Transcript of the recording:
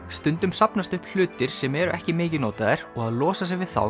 stundum safnast upp hlutir sem eru ekki mikið notaðir og að losa sig við þá